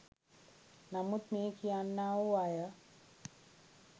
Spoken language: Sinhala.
නමුත් මේ කියන්නා වූ අය